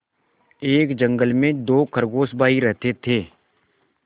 एक जंगल में दो खरगोश भाई रहते थे